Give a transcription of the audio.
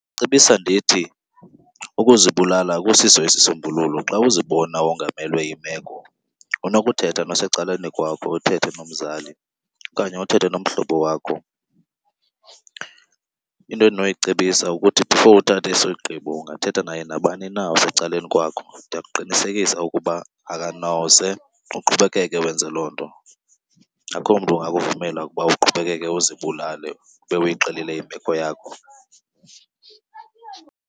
Ndingacebisa ndithi ukuzibulala akusiso isisombululo. Xa uzibona wongamelwe yimeko unokuthetha nosecaleni kwakho, uthethe nomzali okanye uthethe nomhlobo wakho. Into endinoyicebisa kukuthi before uthathe isigqibo ungathetha naye nabani na osecaleni kwakho, ndiyakuqinisekisa ukuba akanoze uqhubekeke wenze loo nto. Akho mntu ungakuvumela ukuba uqhubekeke uzibulale ube uyixelile imeko yakho.